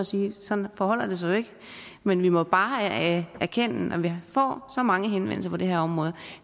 sige at sådan forholder det sig jo ikke men vi må bare erkende at når vi får så mange henvendelser på det her område